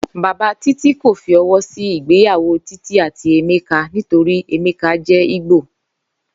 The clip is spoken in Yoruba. Bàbá Títí kò fi o̩wó̩ sí ìgbéyàwó Títí àti Emeka nítorí Emeka jé̩ Ìgbò